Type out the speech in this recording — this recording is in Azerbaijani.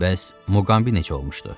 Bəs Muqambi necə olmuşdu?